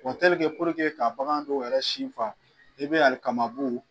ka bagan don yɛrɛ sin ban, i be alikamabu